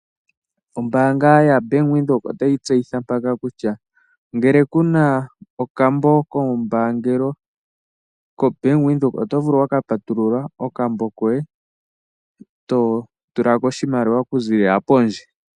Ombaanga yaBank Windhoek otayi tseyitha mpaka kutya ngele kuna okambo kombaangelo koBank Windhoek, oto vulu oku patulula okambo koye, to tula ko oshimaliwa oku ziilila pondje.